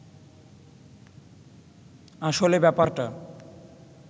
আসলে ব্যাপারটা